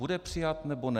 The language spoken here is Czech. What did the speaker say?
Bude přijat, nebo ne?